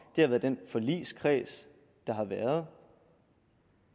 det har været den forligskreds der har været